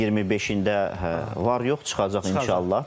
Mayın 25-də var-yox çıxacaq inşallah.